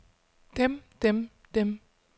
dem dem dem